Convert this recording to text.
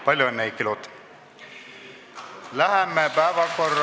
Palju õnne, Heiki Loot!